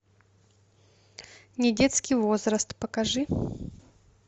недетский возраст покажи